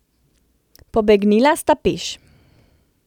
Pobegnila sta peš.